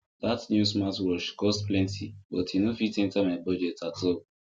that new smartwatch cost plenty but e no fit enter my budget at all